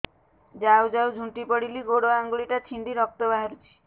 ଯାଉ ଯାଉ ଝୁଣ୍ଟି ପଡ଼ିଲି ଗୋଡ଼ ଆଂଗୁଳିଟା ଛିଣ୍ଡି ରକ୍ତ ବାହାରୁଚି